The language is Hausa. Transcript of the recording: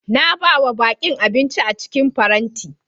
Na ba ma bakin abinci a cikin farenti.